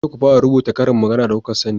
na ce ku fara rubuta ƙarin magana da kuka sani!